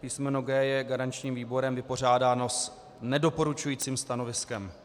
Písmeno G je garančním výborem vypořádáno s nedoporučujícím stanoviskem.